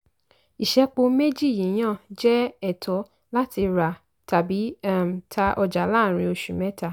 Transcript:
ìṣẹ́po méjì yíyàn jẹ́ ẹ̀tọ́ láti rà tàbí um tá ọjà láàrín oṣù mẹ́ta.